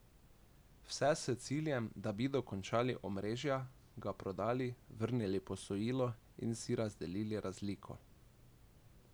Vse s ciljem, da bi dokončali omrežja, ga prodali, vrnili posojilo in si razdelili razliko.